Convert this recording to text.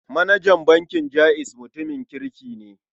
Manajan bankin Jaiz mutumin kirki ne.